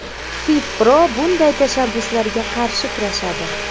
FIFPro bunday tashabbuslarga qarshi kurashadi.